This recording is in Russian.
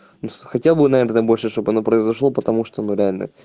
хотя бы наверное больше чтобы оно произошло потому что мы реально